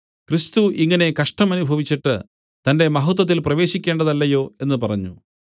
ക്രിസ്തു ഇങ്ങനെ കഷ്ടം അനുഭവിച്ചിട്ട് തന്റെ മഹത്വത്തിൽ പ്രവേശിക്കേണ്ടതല്ലയോ എന്നു പറഞ്ഞു